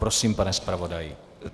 Prosím, pane zpravodaji.